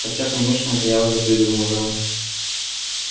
хотя конечно это я уже придумываю